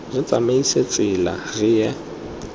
re tsamaise tsela re ye